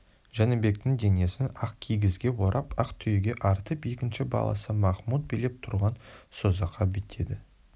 жәнібектің денесін ақ кигізге орап ақ түйеге артып екінші баласы махмұт билеп тұрған созаққа беттеді